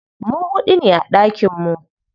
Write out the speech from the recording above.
Mu huɗu ne a ɗakin mu.